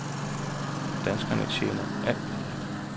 Danskerne tjener alt for lidt.